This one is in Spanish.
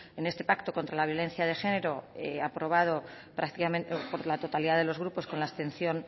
en este pacto contra la violencia de género aprobado prácticamente por la totalidad de los grupos con la abstención